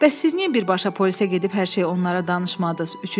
Bəs siz niyə birbaşa polisə gedib hər şeyi onlara danışmadız?